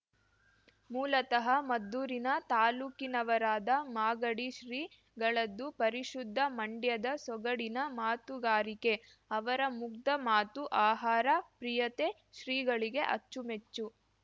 ಮೂಲತಃ ಮದ್ದೂರಿನ ತಾಲೂಕಿನವರಾದ ಮಾಗಡಿ ಶ್ರೀಗಳದ್ದು ಪರಿಶುದ್ಧ ಮಂಡ್ಯದ ಸೊಗಡಿನ ಮಾತುಗಾರಿಕೆ ಅವರ ಮುಗ್ಧ ಮಾತು ಆಹಾರ ಪ್ರಿಯತೆ ಶ್ರೀಗಳಿಗೆ ಅಚ್ಚುಮೆಚ್ಚು